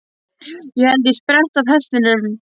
Ég held ég spretti af hestunum.